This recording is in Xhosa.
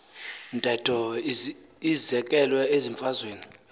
ntetho izekelwe ezimfazweni